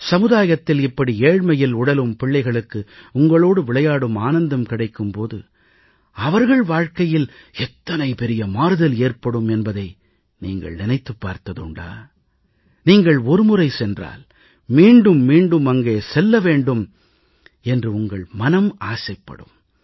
சமுதாயத்தில் இப்படி ஏழ்மையில் உழலும் பிள்ளைகளுக்கு உங்களோடு விளையாடும் ஆனந்தம் கிடைக்கும் போது அவர்கள் வாழ்கையில் எத்தனை பெரிய மாறுதல் ஏற்படும் என்பதை நீங்கள் நினைத்துப் பார்த்ததுண்டா நீங்கள் ஒருமுறை சென்றால் மீண்டும் மீண்டும் அங்கே செல்ல வேண்டும் என்று உங்கள் மனம் ஆசைப்படும்